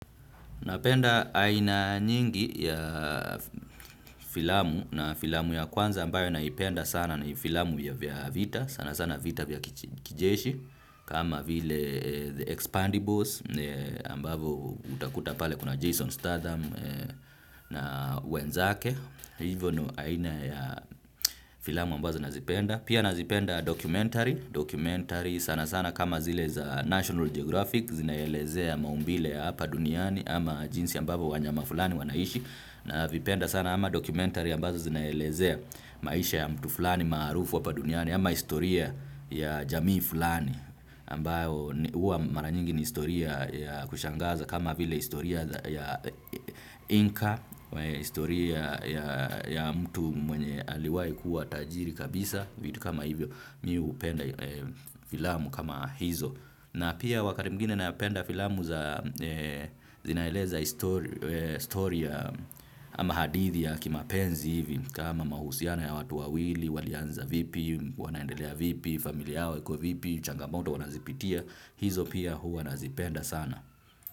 Napenda aina nyingi ya filamu na filamu ya kwanza ambayo naipenda sana na filamu ya vita sanasana vita vya kijeshi kama vile The Expandibles ambavo utakuta pale kuna Jason Statham na wenzake. Hivyo ni aina ya filamu ambazo nazipenda. Pia nazipenda documentary. Documentary sanasana kama zile za National Geographic. Zinaelezea maumbile ya hapa duniani. Ama jinsi ambavo wanyama fulani wanaishi. Navipenda sana ama documentary ambazo zinaelezea maisha ya mtu fulani maarufu hapa duniani. Ama historia ya jamii fulani huwa mara nyingi ni historia ya kushangaza. Kama vile historia ya Inka. Historia ya mtu mwenye aliwai kuwa tajiri kabisa. Vitu kama hivyo mimi hupenda filamu kama hizo. Na pia wakati mwigine na upenda filamu zinaeleza historia ama hadithi ya kimapenzi hivi. Kama mahusiano ya watu wawili, walianza vipi, wanaendelea vipi, familia yao iko vipi, changamoto wanazipitia. Hizo pia huwa nazipenda sana.